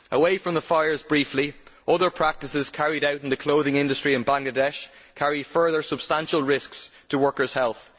Away from the fires briefly, other practices carried out in the clothing industry in Bangladesh carry further substantial risks to workers' health.